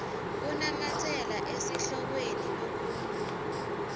kunamatsela esihlokweni lokhuluma